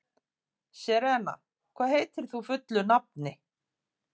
Serena, hvað heitir þú fullu nafni?